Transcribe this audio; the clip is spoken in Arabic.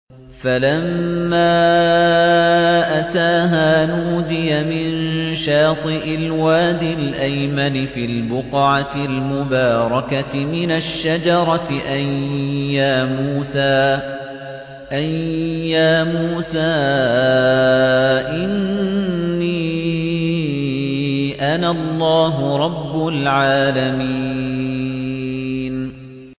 فَلَمَّا أَتَاهَا نُودِيَ مِن شَاطِئِ الْوَادِ الْأَيْمَنِ فِي الْبُقْعَةِ الْمُبَارَكَةِ مِنَ الشَّجَرَةِ أَن يَا مُوسَىٰ إِنِّي أَنَا اللَّهُ رَبُّ الْعَالَمِينَ